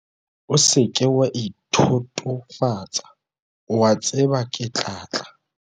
o se ke wa ithotofatsa, o a tseba ke tla tla!